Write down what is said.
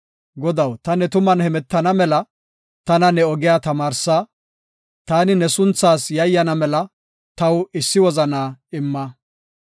Godaw, ta ne tuman hemetana mela, tana ne ogiya tamaarsa. Taani ne sunthaas yayyana mela, taw issi wozanaa imma.